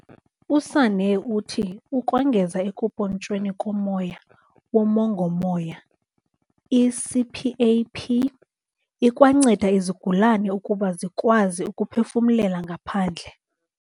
USanne uthi ukongeza ekumpontshweni komoya womongo-moya, i-CPAP ikwanceda izigulane ukuba zikwazi ukuphefumlela ngaphandle.